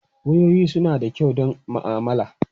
Wayoyi suna da kyau don ma'amala.